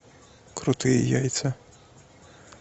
крутые яйца